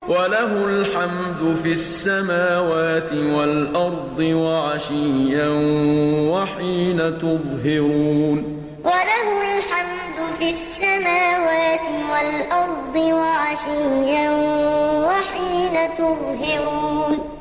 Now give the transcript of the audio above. وَلَهُ الْحَمْدُ فِي السَّمَاوَاتِ وَالْأَرْضِ وَعَشِيًّا وَحِينَ تُظْهِرُونَ وَلَهُ الْحَمْدُ فِي السَّمَاوَاتِ وَالْأَرْضِ وَعَشِيًّا وَحِينَ تُظْهِرُونَ